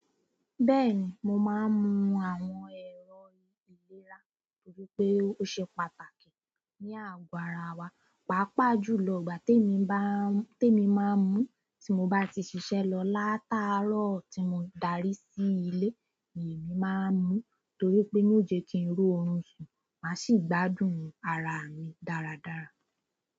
Bẹ́ẹ̀ni mo má ń mú àwọn ẹ̀rọ ìlera torí pé ó ṣe pàtàkì ni ago ará wa papa júlo ìgbà te mi bá ń temi má ń mu tí mo bá ti ṣiṣẹ lọ laatarọ tí mo daari sí ilé. Emi máa ń mu, torí pé yóò jẹ́ kín rí orun sùn, má sì gbádùn ara mi dára dára.